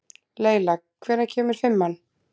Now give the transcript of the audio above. Leyla, hvenær kemur fimman?